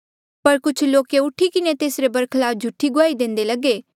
पर कुछ लोके ऊठी किन्हें तेसरे बरखलाफ झूठी गुआही देंदे लगे